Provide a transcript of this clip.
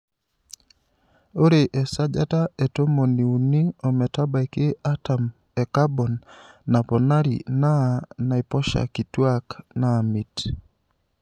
Ore esajata e tomoniuini ometabaiki artam e kabon naponari naa naiposha kituak naamit.